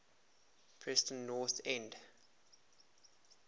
preston north end